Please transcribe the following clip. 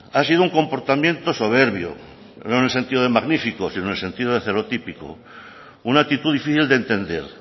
ha sido un comportamiento soberbio no en el sentido de magnífico sino en el sentido de celotípico una actitud difícil de entender